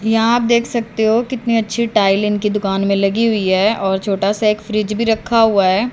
यहां आप देख सकते हो कितने अच्छे टाइल इनके दुकान में लगी हुई है और छोटा सा एक फ्रिज भी रखा हुआ है।